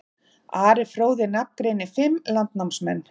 Ari fróði nafngreinir fimm landnámsmenn.